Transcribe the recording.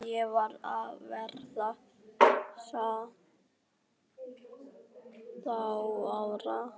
Ég var að verða sautján ára.